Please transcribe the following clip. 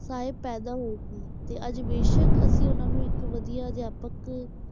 ਪੈਦਾ ਹੋਏ ਸੀ, ਤੇ ਅੱਜ ਬੇਸ਼ਕ ਅਸੀਂ ਉਹਨਾਂ ਨੂੰ ਇੱਕ ਵਧੀਆ ਅਧਿਆਪਕ,